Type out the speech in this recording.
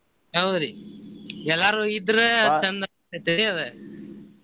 ಹೌದ್ರಿ ಎಲ್ಲಾರು ಇದ್ರ ಚಂದ ಆಕ್ಕೇತ್ರಿ ಅದ.